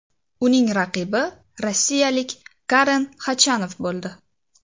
Uning raqibi rossiyalik Karen Xachanov bo‘ldi.